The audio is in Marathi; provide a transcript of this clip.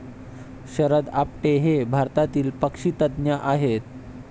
शरद आपटे हे भारतातील पक्षीतज्ज्ञ आहेत.